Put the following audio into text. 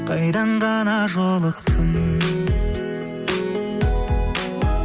қайдан ғана жолықтың